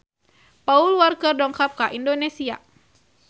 Paul Walker dongkap ka Indonesia